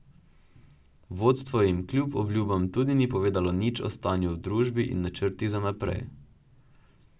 Vodstvo jim kljub obljubam tudi ni povedalo nič o stanju v družbi in načrtih za naprej.